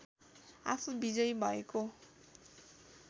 आफू विजयी भएको